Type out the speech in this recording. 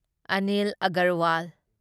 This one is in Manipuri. ꯑꯅꯤꯜ ꯑꯒꯔꯋꯥꯜ